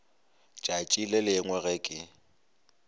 tšatši le lengwe ge ke